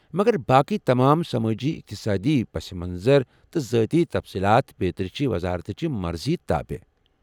مگر باقٕی تمام سمٲجی اقتصادی پس منظر تہٕ ذٲتی تفصیلات بیترِ چھِ وزارتچہِ مرضی تابع ۔